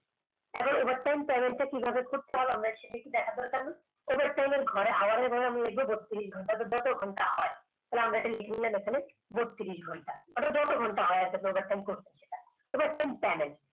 এবার overtime Panel টা কিভাবে করতে হয় আমরা শিখেছি দেখার দরকার নেই। এবার hour র ঘরে আমি লিখব বত্রিস ঘণ্টা। তো যত ঘন্টা হয় তাহলে আমরা এটা লিখে নিলাম এখানে বত্রিস ঘন্টা। যত ঘন্টা হয় আর কি product time করছো এবার Panel